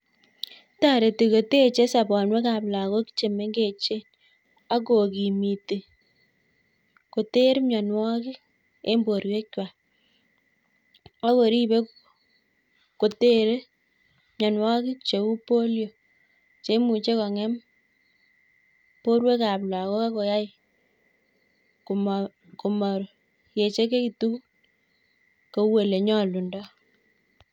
Toreti koteche sobonuekab logok chemengechen ak kokimiti koter mionwogik en borwuekwak, ak koribe kotere mionwogik cheu polio cheimuche kong'em borwekab logok ak koyai komo komoechekitun kou ele nyolundo.